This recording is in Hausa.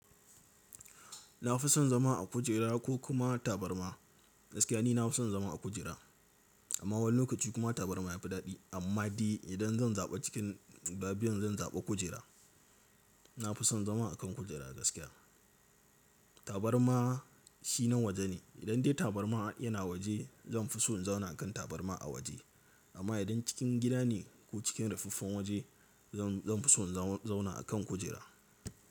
Na fi son zama a kujera ko kuma tabarma. Gaskiya ni na fi son zama a kujera amma wani lokaci kuma tabarma ya fi daɗi amma dai idan zan zaɓa cikin guda biyun zan zaɓa kujera. Na fi son zama a kan kujera gaskiya. Tabarma shi na waje ne. Idan dai tabarma yana waje zan fi so in zauna a kan tabarma a waje amma idan cikin gida ne ko cikin ruffaffen waje zan, zan fi so in zauna a kan kujera.